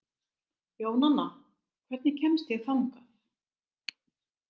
Jónanna, hvernig kemst ég þangað?